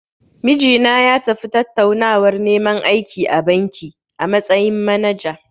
Mijina ya tafi tattaunawar neman aiki a banki, a matsayin manaja.